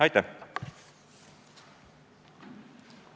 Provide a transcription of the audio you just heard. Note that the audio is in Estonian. Aitäh!